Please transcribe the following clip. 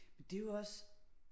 Men det jo også